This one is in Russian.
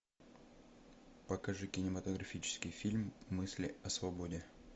покажи кинематографический фильм мысли о свободе